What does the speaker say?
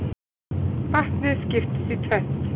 Vatnið skiptist í tvennt.